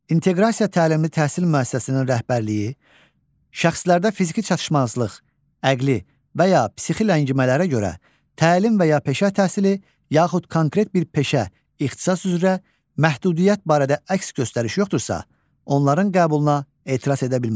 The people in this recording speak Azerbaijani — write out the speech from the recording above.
İnteqrasiya təlimli təhsil müəssisəsinin rəhbərliyi şəxslərdə fiziki çatışmazlıq, əqli və ya psixi ləngimələrə görə təlim və ya peşə təhsili, yaxud konkret bir peşə, ixtisas üzrə məhdudiyyət barədə əks göstəriş yoxdursa, onların qəbuluna etiraz edə bilməz.